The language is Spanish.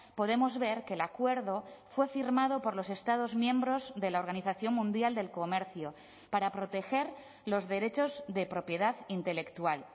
podemos ver que el acuerdo fue firmado por los estados miembros de la organización mundial del comercio para proteger los derechos de propiedad intelectual